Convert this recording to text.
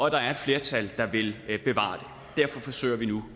at der er et flertal der vil bevare den derfor forsøger vi nu